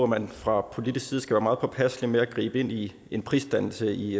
man fra politisk side skal være meget påpasselig med at gribe ind i en prisdannelse i